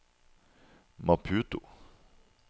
Maputo